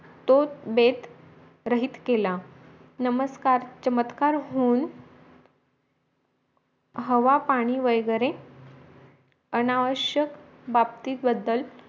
तो बेत रहित केला नमस्कार चमत्कार होऊन हवा पाणी वैगेरे अनावश्यक बाबतीबद्दल